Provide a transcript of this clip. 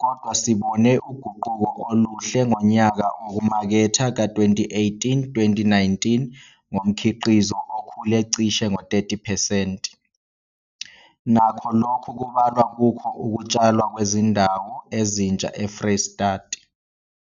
kodwa sibone uguquko oluhle ngonyaka wokumaketha ka-2018, 2019 ngomkhiqizo okhule cishe ngo-30 percent, nakho lokhu kubalwa kukho ukutshalwa kwezindawo ezintsha eFreystata.